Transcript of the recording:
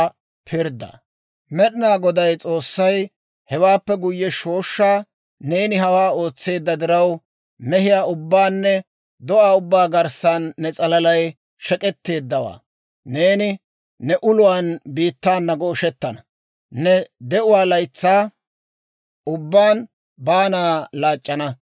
Med'inaa Goday S'oossay hewaappe guyye shooshshaa, «Neeni hawaa ootseedda diraw, mehiyaa ubbaanne do'aa ubbaa garssan ne s'alalay shek'k'etteeddawaa! Neeni ne uluwaan biittaana gooshettana; ne de'uwaa laytsaa ubbaan baanaa laac'c'ana.